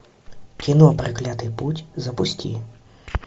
кино проклятый путь запусти